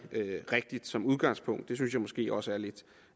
som udgangspunkt rigtigt det synes jeg måske også er lidt